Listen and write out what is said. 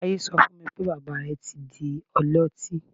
Taiye so fún mi pé, bàbá rẹ̀ ti di ọlọtí.